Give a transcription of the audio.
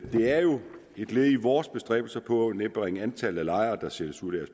et led i vores bestræbelser på at nedbringe antallet af lejere der sættes ud af